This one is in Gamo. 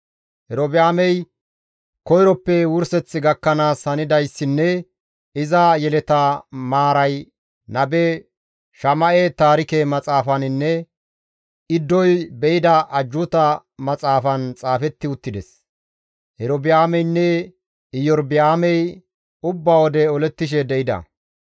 Erobi7aamey koyroppe wurseth gakkanaas hanidayssinne iza yeleta maaray nabe Shama7e Taarike Maxaafaninne Iddoy be7ida Ajjuuta Maxaafan xaafetti uttides. Erobi7aameynne Iyorba7aamey ubba wode olettishe de7ida.